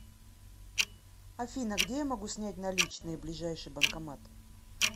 афина где я могу снять наличные ближайший банкомат